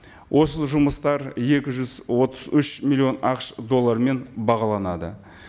осы жұмыстар екі жүз отыз үш миллион ақш доллармен бағаланады